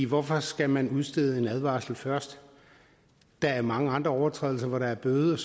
hvorfor skal man udstede en advarsel først der er mange andre overtrædelser hvor der er bøde